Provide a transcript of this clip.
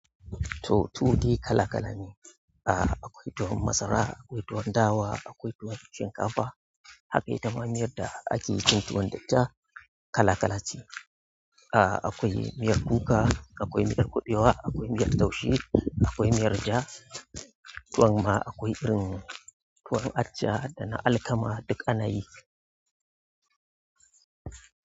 To, tuwo dai kala-kala ne. Ah, akwai tuwon masara, akwai tuwon dawa, akwai tuwon shinkafa. Haka ita ma miyar da ake yi tun tuwon da ita kala-kala ce. Ah, akwai miyar kuka, akwai miyar kuɓewa, akwai miyar taushe, akwai miyar ja. Tuwon ma akwai irin tuwon acca da na alkama duk anayi.